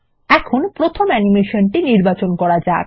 এখন প্রথম অ্যানিমেশনটি নির্বাচন করা যাক